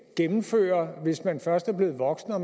gennemføre hvis man først er blevet voksen og